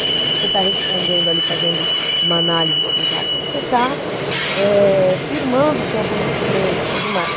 Você está respondendo ali, fazendo uma análise sintática, você está eh firmando o seu conhecimento e tudo mais.